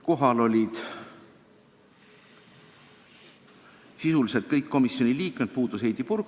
Kohal olid peaaegu kõik komisjoni liikmed, puudus Heidy Purga.